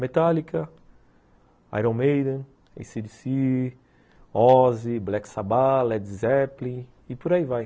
Metallica, Iron Maiden, ACDC, Ozzy, Black Sabbah, Led Zeppelin e por aí vai.